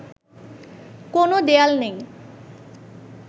কোনো দেয়াল নেই